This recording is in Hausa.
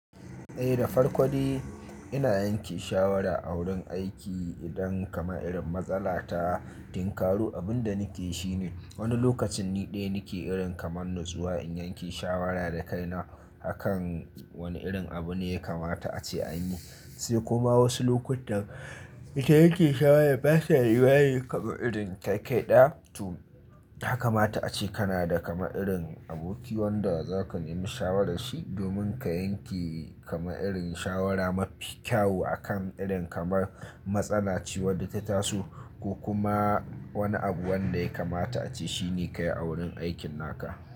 Eh da farko dai ina yanke shawara a wurin aiki idan kama irin matsala ta tinkaru abun da nake shine. Wani lokacin ni ɗaya nake irin kamar nutsuwa in yanke shawara da kaina akan wani irin abu ne ya kamata ace a yi. Sai kuma wasu lokutan ita yake shawara ba ta rayuwa yi kama irin kai kaɗai. To haka mata ace kana da kama irin aboki wanda zaka yi mini shawara shi domin ka yanke kama irin shawara mafi kyau akan irin kamar matsala ce wadda ta taso ko kuma wani abu wanda ya kamata ace shi ne ka yi a wurin aikin naka.